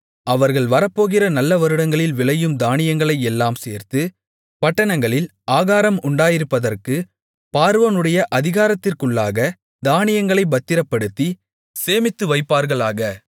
அவர்கள் வரப்போகிற நல்ல வருடங்களில் விளையும் தானியங்களையெல்லாம் சேர்த்து பட்டணங்களில் ஆகாரம் உண்டாயிருப்பதற்கு பார்வோனுடைய அதிகாரத்திற்குள்ளாகத் தானியங்களைப் பத்திரப்படுத்தி சேமித்துவைப்பார்களாக